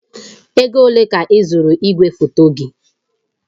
Ego ole ka ịzụrụ igwefoto gị?